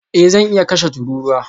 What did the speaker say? Eh zan iya kashe tururuwa